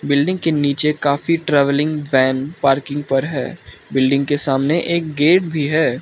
Building के नीचे काफी ट्रैवलिंग वैन पार्किंग पर है बिल्डिंग के सामने एक गेट भी है।